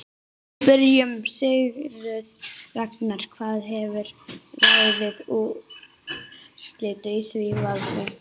Við spurðum Sigurð Ragnar hvað hefði ráðið úrslitum í því vali.